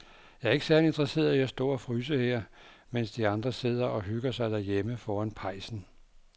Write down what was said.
Jeg er ikke særlig interesseret i at stå og fryse her, mens de andre sidder og hygger sig derhjemme foran pejsen.